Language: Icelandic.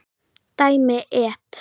Dæmi: et.